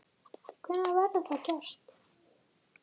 Hvenær verður það gert?